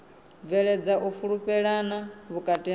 bveledza u fhulufhelana vhukati ha